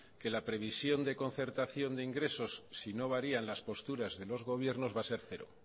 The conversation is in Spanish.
que la previsión de concertación de ingresos si no varían las posturas de los gobiernos va a ser cero